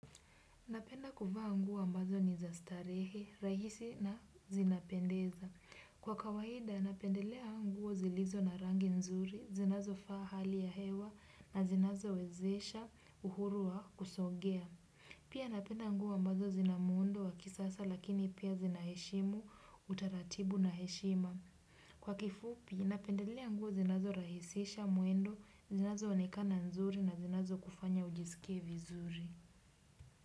Napenda kuvaa nguo mbazo ni za starehe, rahisi na zinapendeza. Kwa kawahida, napendelea nguo zilizo na rangi nzuri, zinazo faa hali ya hewa na zinazo wezesha uhuru wa kusongea. Pia napenda nguo mbazo zina muundo wakisasa lakini pia zinaheshimu, utaratibu na heshima. Kwa kifupi, napendelea anguo zinazo rahisisha, mwendo, zinazo onekana nzuri na zinazo kufanya ujisikie vizuri.